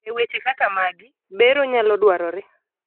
eweche kaka magi, bero nyalo dwarore